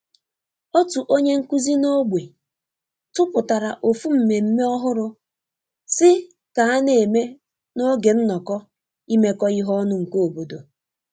Otu onye nkuzi n'ogbe tupụtara ofu mmemme ọhụrụ si ka a n'eme n'oge nnọkọ imekọ ihe ọnụ nke obodo.